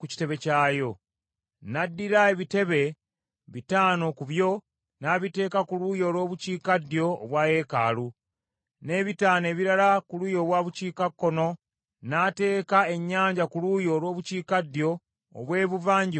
N’addira ebitebe bitaano ku byo n’abiteeka ku luuyi olw’obukiikaddyo obwa yeekaalu, n’ebitaano ebirala ku luuyi olw’obukiikakkono; n’ateeka Ennyanja ku luuyi olw’obukiikaddyo obw’ebuvanjuba obwa yeekaalu.